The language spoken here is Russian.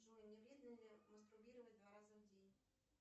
джой не вредно ли мастурбировать два раза в день